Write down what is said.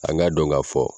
An k'a dɔn ka fɔ